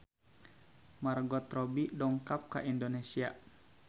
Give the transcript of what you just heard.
Margot Robbie dongkap ka Indonesia